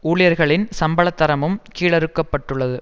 ஊழியர்களின் சம்பளத் தரமும் கீழறுக்கப்பட்டுள்ளது